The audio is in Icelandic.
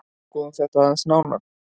Skoðum þetta aðeins nánar.